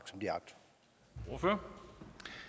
over socialdemokraterne har